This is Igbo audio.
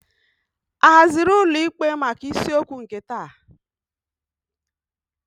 A haziri ụlọ ikpe maka isiokwu nke taa?